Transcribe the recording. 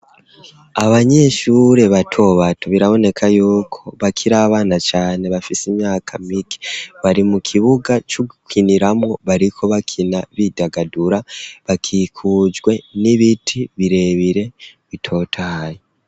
Abanyeshure bato bato, biraboneka yuko bakiri abana cane bafise imyaka mike, bari mu kibuga c'ugukiniramo, bariko bakina bidagadura bakikujwe n'ibiti birebire bitotaye.